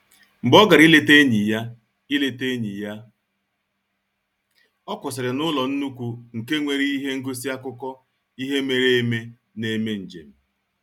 Mgbe ọ gara ileta enyi ya, ileta enyi ya, ọ kwụsịrị n'ụlọ nnukwu nke nwere ihe ngosi akụkọ ihe mere eme na-eme njem